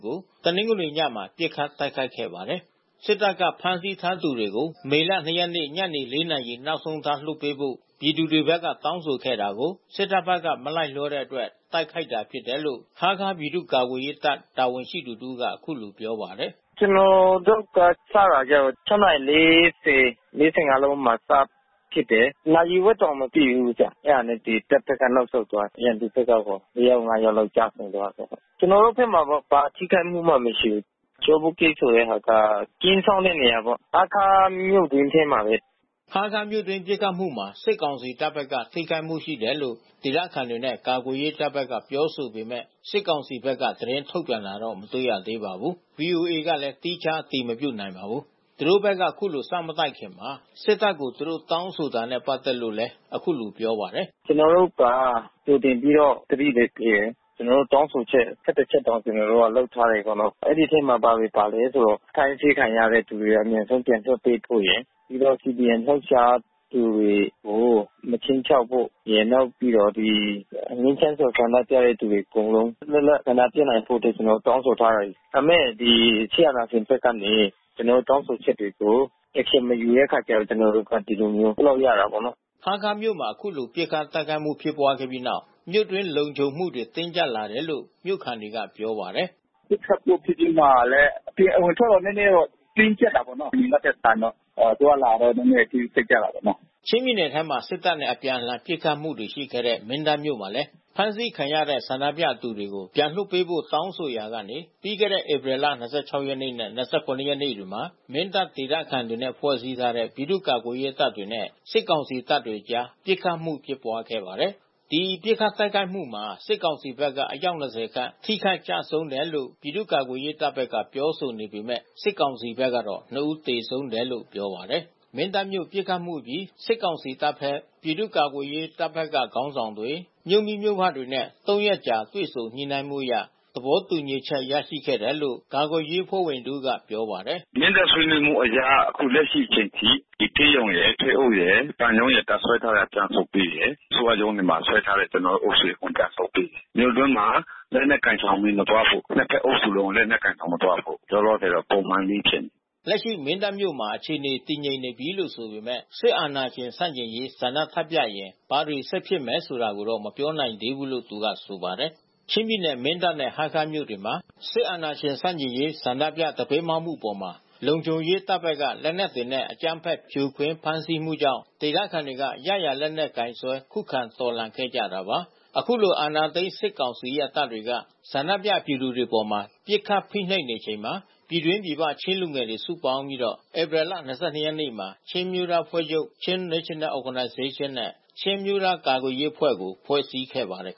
ကို တနင်္ဂနွေညဘက်မှာ ပစ်ခတ်တိုက်ခိုက်ခဲ့ပါတယ်။ စစ်တပ်က ဖမ်းဆီးထားသူတွေကို မေလ ၂ ရက်နေ့ ညနေ ၄ နာရီနောက်ဆုံးထား လွှတ်ပေးဖို့ ပြည်သူတွေဖက်က တောင်းဆိုခဲ့တာကို စစ်တပ်ဖက်က မလိုက်လျောတဲ့အတွက် တိုက်ခိုက်ခဲ့တာဖြစ်တယ်လို့ ဟားခါးပြည်သူ့ ကာကွယ်ရေးတပ်တာဝန်ရှိသူ တစ်ဦးကအခုလိုပြောပါတယ်။ "ကျွန်တော်တို့စတာကျတော့ (၆)နာရီ(၄၀) (၄၅)မိနစ်မှာစပစ်တယ်။ နာရီဝက်တောင်မရှိဘူး အဲတာတပ်ဘက်က နောက်ဆုတ်သွားတယ်။ ရန်သူဖက်ကတော့ (၄) ယောက် (၅) ယောက်လောက်တော့ကျဆုံးသွားတယ်။ ကျွန်တော်တို့ ဘက်မှာတော့ ဘာထိခိုက်မှုမှမရှိဘူး။ ကျောဘုတ်ဂိတ်ဆိုတာကေတော့ ကင်းစောင့်တဲ့နေရာဘဲ။ ဟားခါးမြို့တွင်း ထဲမှာဘဲ" ဟားခါးမြို့တွင်းပစ်ခတ်မှုမှာ စစ်ကောင်စီတပ်ဘက်က ထိခိုက်မှုရှိတယ်လို့ဒေသခံတွေနဲ့ ကာကွယ်ရေးတပ် ဘက်ကပြောဆိုပေမဲ့ စစ်ကောင်စီဘက်က သတင်းထုတ်ပြန်တာတော့မတွေ့ရသေးပါဘူး။ ဗီအိုအေကလည်း သီးခြား အတည်မပြုနိုင်ပါဘူး။ သူတို့ဖက်က ခုလို စမတိုက်ခင် စစ်တပ်ကို သူတို့တောင်းဆိုတာတွေနဲ့ပါတ်သက်လို့လည်း ခုလိုပြောပါတယ်။ "ကျွန်တော်တို့က ကြိုတင်ပြီးတော့သတိလဲပေးတယ်။ ကျွန်တော်တို့တောင်းဆိုချက်(၁၁)ချက်တောင်လုပ်ထားတယ် ကျွန်တော်တို့က။ အဲဒီအထဲမှာ ဘာတွေပါလဲဆိုတော့ အဖမ်းဆီးခံရသူတွေပြန်လွှတ်ပေးဖို့ရယ်။ ပြီးတော့ CDMလှုပ်ရှားသူတွေကို မခြိမ်းခြောက်ဖို့ရယ်။ နောက်ပြီးတော့ ငြိမ်းချမ်းစွာဆန္ဒပြတဲ့သူတွေအကုန်လုံး လွတ်လပ်ဆန္ဒပြနိုင်ဖို့အတွက် ကျွန်တော်တို့တောင်းဆိုထားတယ်။ ဒါပေမဲ့ ဒီစစ်အာဏာရှင်ဖက်ကနေ ကျွန်တော်တို့တောင်းဆိုချက်တွေကို Action မယူတဲ့ အခါကျတော့ ကျွန်တော်တို့တို့ဒီလိုမျိုး လုပ်ရတာပေါ့နော်" ဟားခါးမြို့မှာ ခုလို ပစ်ခတ်တိုက်ခိုက်မှု ဖြစ်ပွားခဲ့ပြီးနောက် မြို့တွင်း လုံခြုံမှုတွေတင်းကြပ်လာတယ်လို့ မြို့ခံတွေက ပြောပါတယ်။ "ပစ်ခတ်မှုဖြစ်ပြီးမှလဲ ဒီအဝင်အထွက်တော့နဲနဲတင်းကြပ်တာပေါ့နော် အရင်ကထက်စာရင်တော့။ အသွားအလာတော့နဲနဲတင်းကြပ်တာပေါ့နော်" ချင်းပြည်နယ်ထဲမှာပဲ စစ်တပ်နဲ့ အပြန်အလှန် ပစ်ခတ်မှုတွေရှိခဲ့တဲ့ မင်းတပ်မြို့မှာလည်း ဖမ်းဆီးခံရတဲ့ ဆန္ဒပြသူတွေကို ပြန်လွှတ်ပေးဖို့တောင်းဆိုရာကနေ ပြီးခဲ့တဲ့ဧပြီလ(၂၆) နဲ့ (၂၇)ရက်နေ့တွေမှာ မင်းတပ်ဒေသခံတွေနဲ့ဖွဲ့စည်းထားတဲ့ ပြည်သူ့ ကာကွယ်ရေးတပ်တွေနဲ့ စစ်ကောင်စီတပ်တို့အကြား ပစ်ခတ်မှုဖြစ်ပွါးခဲ့ပါတယ်။ ဒီပစ်ခတ်တိုက်ခိုက်မှုမှာ စစ်ကောင်စီတပ်ဘက်ကအယောက်(၂၀) ခန့်ထိခိုက်ကျဆုံးတယ်လို့ ပြည်သူ့ ကာကွယ်ရေး တပ်ဘက်ကပြောဆိုပေမဲ့ စစ်ကောင်စီဖက်ကတော့ (၂) ဦးသေဆုံးတယ်လို့ပြောပါတယ်။ မင်းတပ်မြို့ပစ်ခတ်မှုအပြီး စစ်ကောင်စီတပ်ဖက် မြို့မိမြို့ဖတွေ ပြည်သူ့ ကာကွယ်ရေးတပ်ဘက်က ခေါင်းဆောင် တွေနဲ့ (၃)ရက်အကြာတွေ့ဆုံညှိနှိုင်းမှုအရ သဘောတူညီချက်ရရှိခဲ့တယ်လို့ကာကွယ်ရေးအဖွဲ့ဝင် တဦးက ပြောပါတယ်။ "မင်းတပ်ဆွေးနွေးမှုအရ အခုလက်ရှိအချိန်ထိ ဒီဆေးရုံရယ် ထွေအုပ်ရယ် ဘဏ်ရုံးရယ်တပ်စွဲထားတာပြန်ရုပ်ပေးတယ်။ အစိုးရရုံးတွေမှာစွဲထားတဲ့ ကျွန်တော်တို့တပ်ဆုတ်ပေးတယ်။ မြို့တွင်းမှာလက်နက်ကိုင်ဆောင်ပြီးမသွားဖို့ ။ နှစ်အုပ်စုလုံး လက်နက်ကိုင်ဆောင်မသွားဖို့။ လောလောဆယ်တော့ ပုံမှန်နီးနီးဖြစ်နေတယ်" "လက်ရှိမင်းတပ်မြို့မှာအခြေအနေတည်ငြိမ်နေပြီးလို့ဆိုပေမဲ့ စစ်အာဏာရှင်ဆန့်ကျင်ရေး ဆန္ဒထပ်ပြရင် ဘာတွေ ဆက်ဖြစ်မယ်ဆိုတာကိုတော့ မပြောနိုင်သေးဘူး" လို့သူကဆိုပါတယ်။ ချင်းပြည်နယ် မင်းတပ်နဲ့ဟားခါးမြို့တွေမှာ စစ်အာဏာရှင်ဆန့်ကျင်ရေးဆန္ဒရေး ဆန္ဒပြသပိတ်မှောက်မှုအပေါ် လုံခြုံရေး တပ်တွေဘက်က လက်နက်နဲ့ အကြမ်းဖက်ဖြိုခွင်းဖမ်းဆီးမှုကြောင့် ဒေသခံတွေက ရရာလက်နက်ကိုင်စွဲ ခုခံတော်လှန်ခဲ့ကြတာပါ။ ခုလို အာဏာသိမ်း စစ်ကောင်စီရဲ့ တပ်တွေက ဆန္ဒပြပြည်သူတွေအပေါ် ပစ်ခတ် ဖိနှိပ်နေချိန်မှာ ပြည်တွင်း ပြည်ပချင်းလူငယ်တွေ စုပေါင်းပြီး ဧပြီလ(၂၂)ရက်နေ့မှာ ချင်းအမျိုးသားအဖွဲ့ချုပ် (Chin National Organization)နဲ့ ချင်းအမျိုးသားကာကွယ်ရေးအဖွဲ့ ကို ဖွဲ့စည်းခဲ့ပါတယ်